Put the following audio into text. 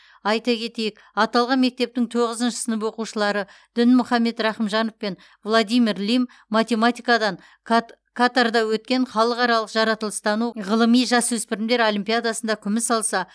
айта кетейік аталған мектептің тоғызыншы сынып оқушылары дінмұхаммед рахымжанов пен владимир лим математикадан кат катарда өткен халықаралық жаратылыстану ғылыми жасөспірімдер олимпиадасында күміс алса